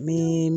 Ni